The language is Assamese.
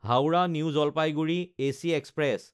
Howrah New Jalpaiguri AC express